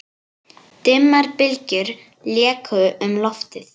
Dimmar bylgjur léku um loftið.